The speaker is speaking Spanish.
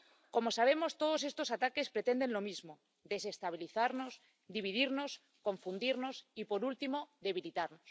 Como sabemos, todos estos ataques pretenden lo mismo desestabilizarnos, dividirnos, confundirnos y, por último, debilitarnos.